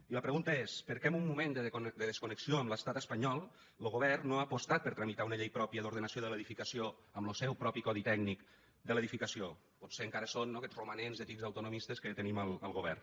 i la pregunta és per què en un moment de desconnexió amb l’estat espanyol lo govern no ha apostat per tramitar una llei pròpia d’ordenació de l’edificació amb lo seu propi codi tècnic de l’edificació potser encara són no aquests romanents de tics autonomistes que tenim al govern